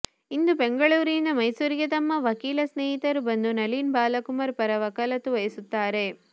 ಇಂದು ಬೆಂಗಳೂರಿನಿಂದ ಮೈಸೂರಿಗೆ ನಮ್ಮ ವಕೀಲ ಸ್ನೇಹಿತರು ಬಂದು ನಳಿನಿ ಬಾಲಕುಮಾರ್ ಪರ ವಕಾಲತ್ತು ವಹಿಸುತ್ತಾರೆ